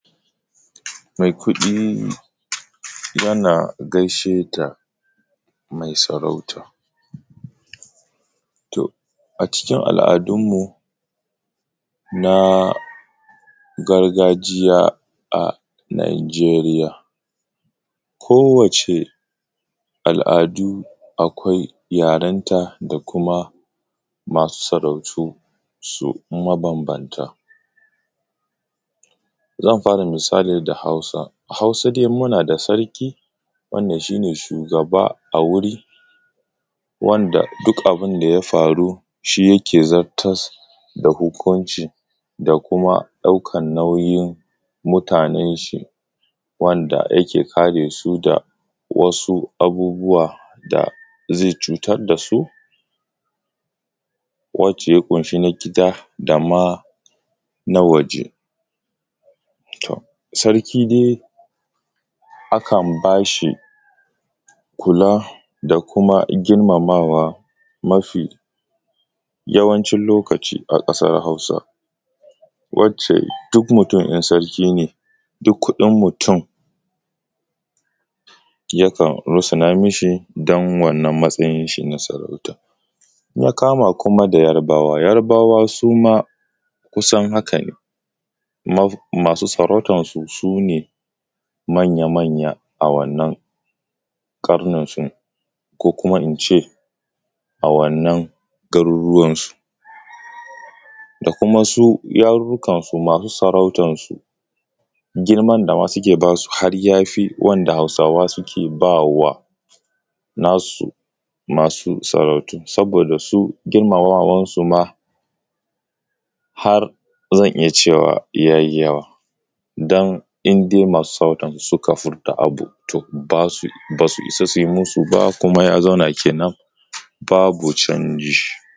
Mai kuɗi yana gaishe da mai sarauta. A cikin aladunmu na gargajiya a Najeriya. Kowacce aladu akwai yarenta da kuma masu sarautu mabambanta. Zanmisali da Hausa. A Hausa dai muna da sarki wanda shi ne shugaba a wuri, wanda duk abun da ya faru da shi yake zartas hukunci da kuma ɗaukar nauyin mutanen shi wanda yake kare su da wasu abubuwa da zai cutar da su wacce ya kunshi na gida dama na waje. Sarki dai akan ba shi kula da kuma girmama mafi yawanci lokaci a ƙasar Hausa duk kuɗin mutum yakan russuna mi shi don mataayin shi na sarauta. In ya kama kuma da Yarbawa, Yarbawa su ma kusan haka ne, masu sarautansu ko kuma in ce a wannan garuruwan su da kuma su yarurrukansu masu sarautansu girman da suke ba su har ya fi girman da Hausa suke ba nasu sarautu. Saboda su girmamawansu ma har zan iya cewa ya yi yawa, don in dai masu sarautarsu suka ce wani abu ba su isa su yi musu ba kuma ya zauna kenan babu canji